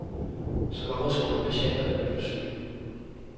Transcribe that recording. Så hvorfor skulle patienterne blive syge?